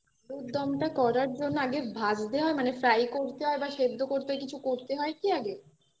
আলুরদম করার জন্য আগে ভাজতে হয় মানে fry করতে হয় বা সেদ্ধ করতে হয় কিছু করতে হয় কি আগে